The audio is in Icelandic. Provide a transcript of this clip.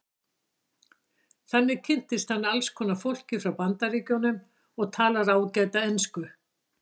Þannig kynntist hann alls konar fólki frá Bandaríkjunum og talar ágæta ensku.